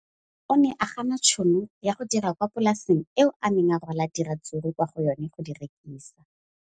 O ne a gana tšhono ya go dira kwa polaseng eo a neng rwala diratsuru kwa go yona go di rekisa.